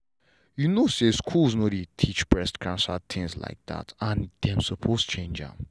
you know say schools no dey teach breast cancer things like that and dem suppose change am.